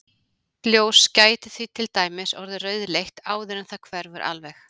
Hvítt ljós gæti því til dæmis orðið rauðleitt áður en það hverfur alveg.